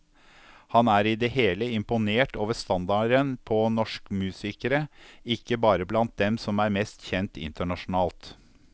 Han er i det hele imponert over standarden på norsk musikere, ikke bare blant dem som er mest kjent internasjonalt.